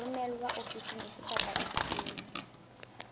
romelwa ofising efe kapa efe